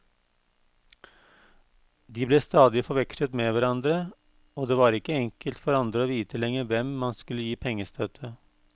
De ble stadig forvekslet med hverandre, og det var ikke enkelt for andre å vite lenger hvem man skulle gi pengestøtte.